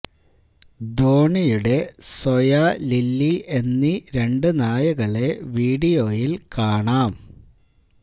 ധോണിയുടെ സൊയാ ലില്ലി എന്നീ രണ്ട് നായകളെ വീഡിയോയില് കാണാം